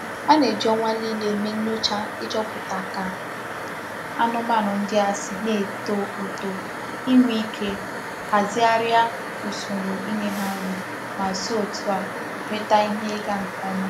A na-eji onwa nile eme nyocha ichoputa ka anumanu ndi a si na-eto uto, inwe ike ahazigharia usoro inye ha nri ma si òtû a nweta ihe iga nke oma.